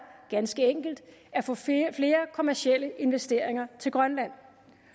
ganske enkelt at få flere kommercielle investeringer til grønland